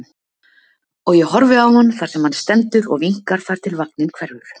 Og ég horfi á hann þar sem hann stendur og vinkar þar til vagninn hverfur.